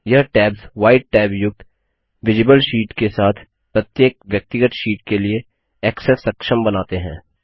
यह tabs white tab युक्त visible sheet के साथ प्रत्येक व्यक्तिगत शीट के लिए ऐक्सेस सक्षम बनाते हैं